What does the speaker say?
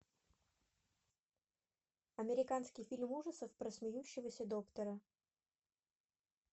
американский фильм ужасов про смеющегося доктора